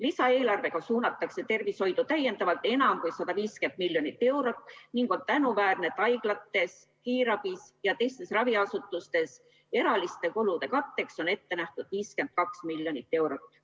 Lisaeelarvega suunatakse tervishoidu täiendavalt enam kui 150 miljonit eurot ning on tänuväärne, et haiglate, kiirabi ja teiste raviasutuste erakorraliste kulude katteks on ette nähtud 52 miljonit eurot.